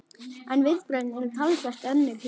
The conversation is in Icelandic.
En viðbrögðin eru talsvert önnur hér.